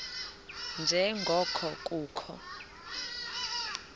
nje ngoko kukho